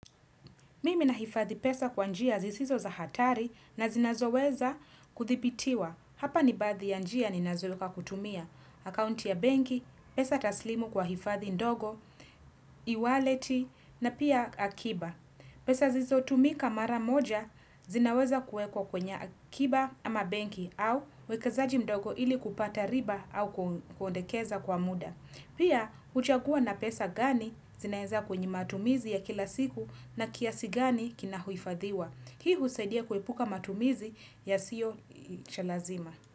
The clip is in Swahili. Mimi nahifadhi pesa kwa njia zisizo za hatari na zinazoweza kudhibitiwa. Hapa ni baadhi ya njia ninazo kutumia. Akaunti ya banki, pesa taslimu kwa hifadhi ndogo, e-waleti na pia akiba. Pesa zizo tumika mara moja zinaweza kuekwa kwenye akiba ama banki au wekezaji ndogo ili kupata riba au kondekeza kwa muda. Pia, huchagua na pesa gani zinaenza kwenye matumizi ya kila siku na kiasi gani kina hifadhiwa. Hii husaidia kuepuka matumizi yasio cha lazima.